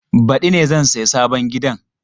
Badi ne zan saya sabon gidan.